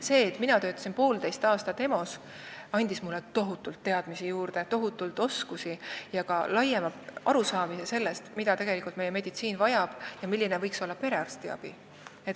See, et mina töötasin poolteist aastat EMO-s, andis mulle juurde tohutult teadmisi ja oskusi, samuti laiema arusaamise sellest, mida meie meditsiin tegelikult vajab ja milline võiks olla perearstiabi.